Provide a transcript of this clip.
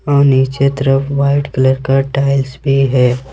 और नीचे तरफ वाइट कलर का टाइल्स भी है।